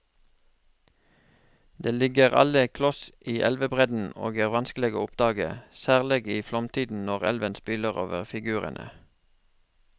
De ligger alle kloss i elvebredden og er vanskelige å oppdage, særlig i flomtiden når elven spyler over figurene.